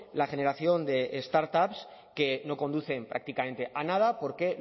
la generación de startups que no conducen prácticamente a nada porque